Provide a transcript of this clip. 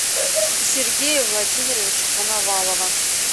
сергея владимировича коновалова